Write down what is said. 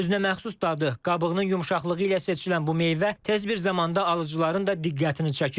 Özünəməxsus dadı, qabığının yumşaqlığı ilə seçilən bu meyvə tez bir zamanda alıcıların da diqqətini çəkib.